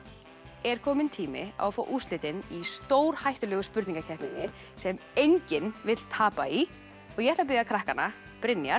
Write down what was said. er kominn tími á að fá úrslitin í stórhættulegu spurningakeppninni sem enginn vill tapa í ég ætla að biðja krakkana Brynjar